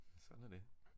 Sådan er det